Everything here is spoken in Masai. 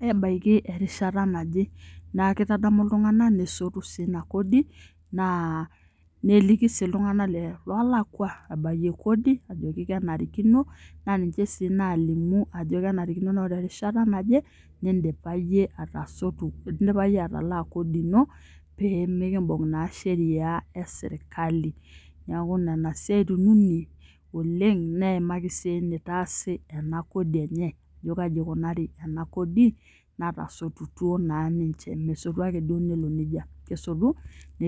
ebaiki erishata naje, naa keitadamu iltung'anak nesotuu sii ina kodi naa neliki sii iltung'anak loolakua abie kodi kenarikino naa ninche sii nalimu ajo kenarikino ajo oree erishata najee nindipa iye atasotu indipa iyee atalaa kodi ino pee mikiimbung' naa sheria ee serkali neeku nena siaitin unii oleng' neimaki sii enaitasii ena kodi enye, ajo kaji eikunari ena kodi enye natasotutuo naa ninche mesotu naakee duo nelo nijia kesotu.